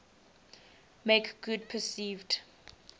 make good perceived